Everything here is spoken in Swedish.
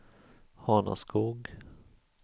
Hanaskog